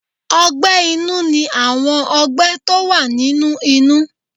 Ọgbẹ́ inú ní àwọn ọgbẹ́ tó wà nínú inú.